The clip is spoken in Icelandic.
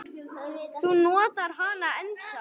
Þú notar hana ennþá.